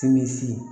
Sinmisi ye